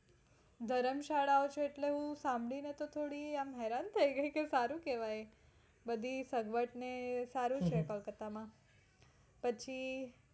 ધર્મશાળાઓ છે એટલે ઈ સાંભળીને તો થોડી આમ હેરાન થાય ગઈ કે સારું કેવાય બધી સગવડ ને સારું છે કોલકાતા માં. પછી